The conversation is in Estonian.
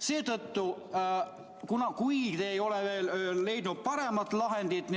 Seetõttu, kui te ei ole veel leidnud paremat lahendit